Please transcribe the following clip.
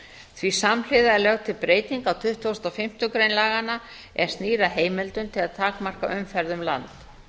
því samhliða er lögð til breyting á tuttugustu og fimmtu grein er snýr að heimildum til að takmarka umferð um land